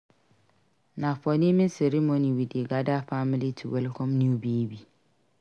Na for naming ceremony we dey gather family to welcome new baby.